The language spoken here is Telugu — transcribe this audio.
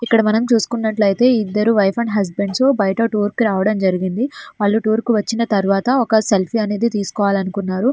ఇక్కడ మనం చూసుకున్నట్లయితే ఇద్దరు వైఫ్ అండ్డ్ హస్బెండ్ వాళ్లు టూర్ కి రావడం జరిగింది. బయటికి వచ్చిన తర్వాత సెల్ఫీ తీసుకుంటున్నారు.